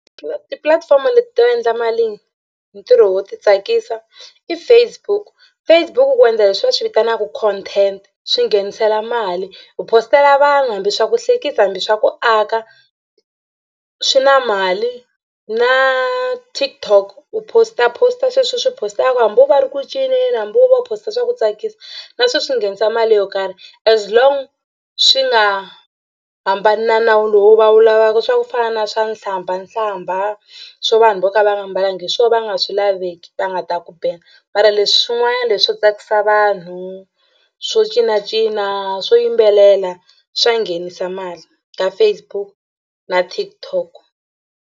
tipulatifomo leti to endla mali hi ntirho wo titsakisa i Facebook. Facebook ku endla leswi va swi vitanaka content swi nghenisela mali. Ku post-ela vanhu hambi swa ku hlekisa hambi swa ku aka swi na mali na TikTok u post-a post-a sweswo swi post-aka hambi u va ri ku cinela hambi wo va u post-a swa ku tsakisa na swo swi nghenisa mali yo karhi as long swi nga ku hambani na nawu lowu va wu lavaka swa ku fana na swa nhlambanhlamba swo vanhu vo ka va nga mbalanga hi swo va nga swi laveki va nga ta ku ban mara leswi swin'wana leswo tsakisa vanhu swo cinacina swo yimbelela swa nghenisa mali ka Facebook na TikTok.